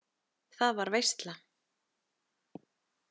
Það var veisla.